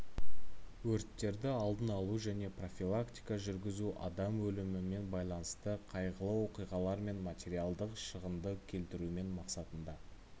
өрттерді алдын алу және профилактика жүргізу адам өлімімен байланысты қайғылы оқиғалар мен материалдық шығынды келтірмеу мақсатында